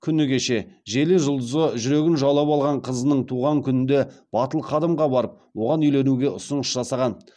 күні кеше желі жұлдызы жүрегін жаулап алған қызының туған күнінде батыл қадамға барып оған үйленуге ұсыныс жасаған